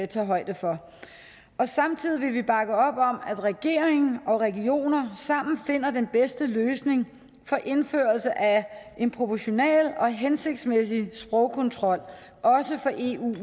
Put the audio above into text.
tage højde for samtidig vil vi bakke op om at regeringen og regioner sammen finder den bedste løsning for indførelse af en proportional og hensigtsmæssig sprogkontrol også for eu